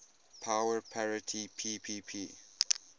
power parity ppp